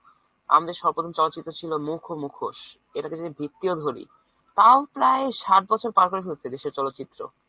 আমাদের সর্বপ্রথম চলচিত্র ছিল মুখ ও মুখোশ। এটাকে যদি ভিত্তিও ধরি তাও প্রায় ষাট বছর পার করে ফেলেছে দেশের চলত্চিত্র।